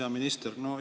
Hea minister!